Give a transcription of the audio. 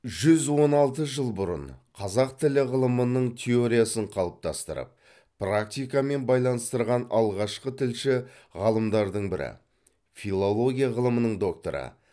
жүз он алты жыл бұрын қазақ тілі ғылымының теориясын қалыптастырып практикамен байланыстырған алғашқы тілші ғалымдардың бірі филология ғылымының докторы